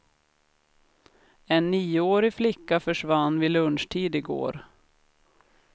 En nioårig flicka försvann vid lunchtid i går.